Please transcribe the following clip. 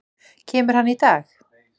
Kemur hann í dag?